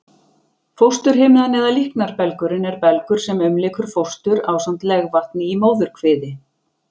Fósturhimnan eða líknarbelgurinn er belgur sem umlykur fóstur ásamt legvatni í móðurkviði.